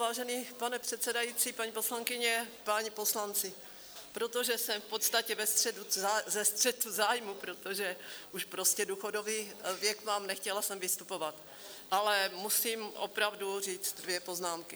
Vážený pane předsedající, paní poslankyně, páni poslanci, protože jsem v podstatě ve střetu zájmů, protože už prostě důchodový věk mám, nechtěla jsem vystupovat, ale musím opravdu říct dvě poznámky.